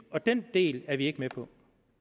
og den del er vi ikke med på